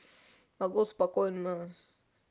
могу спокойно